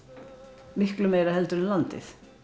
miklu meira heldur en landið